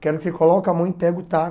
Quero que você coloque a mão e pegue o taco.